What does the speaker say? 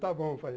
Está bom, pai.